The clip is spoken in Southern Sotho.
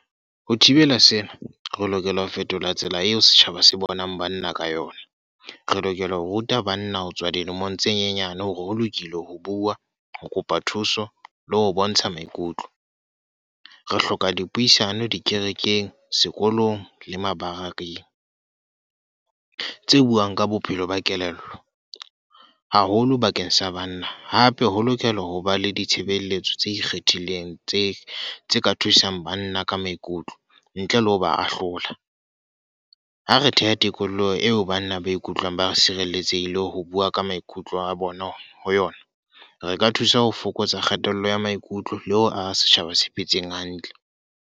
Ho thibela sena, re lokela ho fetola tsela eo setjhaba se bonang banna ka yona. Re lokela ho ruta banna ho tswa dilemong tse nyenyane hore ho lokile ho bua, ho kopa thuso le ho bontsha maikutlo. Re hloka dipuisano dikerekeng, sekolong le mabarekeng. Tse buang ka bophelo ba kelello, haholo bakeng sa banna. Hape ho lokela ho ba le ditshebeletso tse ikgethileng tse tse ka thusang banna ka maikutlo, ntle le ho ba ahlola. Ha re theha tikoloho eo banna ba ikutlwang ba sireletsehile ho bua ka maikutlo a bona, ho yona. Re ka thusa ho fokotsa kgatello ya maikutlo le ho aha setjhaba se phetseng hantle.